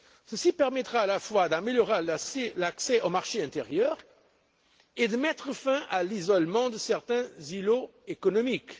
Elle permettra à la fois d'améliorer l'accès au marché intérieur et de mettre fin à l'isolement de certains îlots économiques.